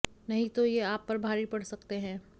नही तो ये आप पर भारी पड़ सकते है